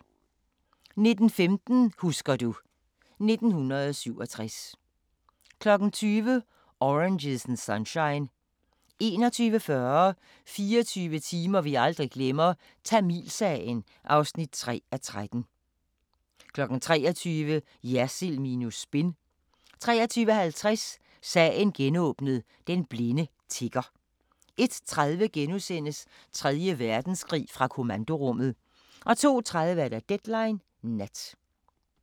19:15: Husker du ... 1967 20:00: Oranges and Sunshine 21:40: 24 timer vi aldrig glemmer - Tamilsagen (3:13) 23:00: Jersild minus spin 23:50: Sagen genåbnet: Den blinde tigger 01:30: Tredje Verdenskrig – fra kommandorummet * 02:30: Deadline Nat